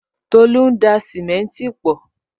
Tolu ń da simenti pọ